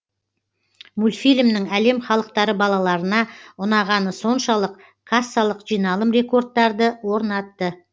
мультфильмнің әлем халықтары балаларына ұнағаны соншалық кассалық жиналым рекордтарды орнатты